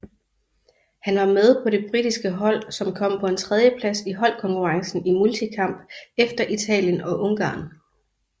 Han var med på det britiske hold som kom på en tredjeplads i holdkonkurrencen i multikamp efter Italien og Ungarn